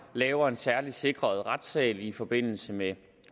laver en særligt sikret retssal i forbindelse med